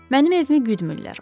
Mənim evimi güdmürlər.